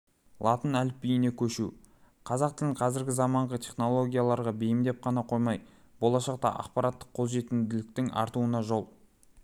латын әліпбиіне көшу қазақ тілін қазіргі заманғы технологияларға бейімдеп қана қоймай болашақта ақпараттық қолжетімділіктің артуына жол